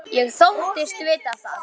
Ég þóttist vita það.